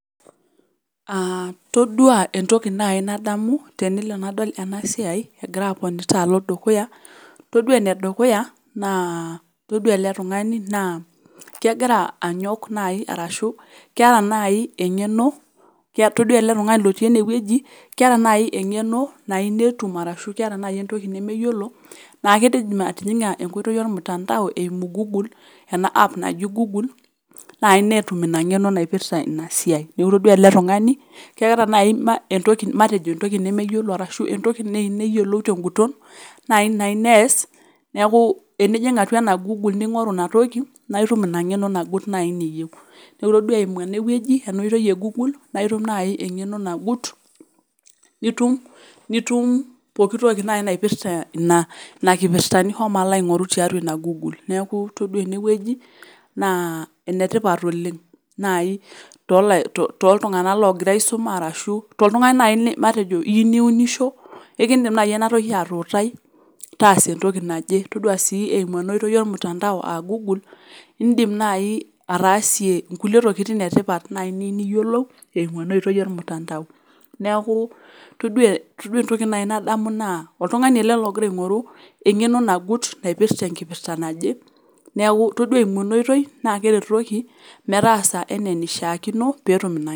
Aah toduaa entoki nai nadamu tenelo nadol enasiai egira aponita alo dukuya, toduaa enedukuya naa toduaa ele tung'ani naa kegira anyok nai arashu keata nai eng'eno, kea toduaa ele tung'ani lotii enewueji keata nai eng'eno nainetum arashu keata nai entoki nemeyiolo naake eidim atijing'a enkoitoi olmutandao eimu google ena app naji google nai netum ina ng'eno naipirta inasiai. Neaku toduaa ele tung'ani keata nai ma entoki matejo entoki nemeyiolo arashu entoki neeineyolo ten'guton nainayi neas neakuu enijing' atua ena  google ning'oru inatoki naaitum ina ng'eno nagut nai niyeu Neaku itoduaa eimu enewueji enooitoi e  google naitum nai eng'eno nagut nitum, nitum pooki toki nai naipirta ina kipirta nishomo alo aing'oru tiatua ina google. Neaku toduaa enewueji naa enetipat oleng' nai tolai [to] toltung'ana logira aisuma arashu toltung'ani nai matejo iyiu niunisho eikindim nai enatoki atuutai taasa entoki naje, toduaa sii eimu enooitoi olmutandao [aa] google indim nai ataasie inkulie tokitin etipat niyiu nai niyiolou eimu enooitoi olmutandao. Neakuu toduaa todua entoki nai naa oltung'ani ele logira aing'oru eng'eno nagut naipirta enkipirta naje neaku toduaa eimu enooitoi naakeretoki metaasa eneeneishaakino peetum ina.